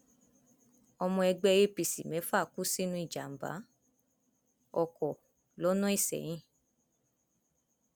ọmọ ẹgbẹ apc mẹfà kú sínú ìjàmbá ọkọ lọnà isẹyìn